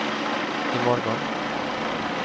imorgon